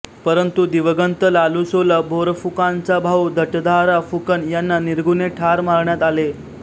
परंतु दिवंगत लालुसोला बोरफुकानचा भाऊ भटधारा फुकन यांना निर्घृणे ठार मारण्यात आले